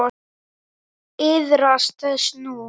Iðrast þess nú.